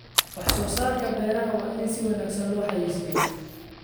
Wax soo saarka beeraha waa in si wanaagsan loo xayeysiiyaa.